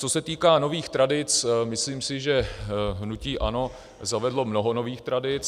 Co se týká nových tradic, myslím si, že hnutí ANO zavedlo mnoho nových tradic.